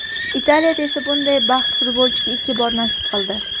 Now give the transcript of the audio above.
Italiyada esa bunday baxt futbolchiga ikki bor nasib qildi.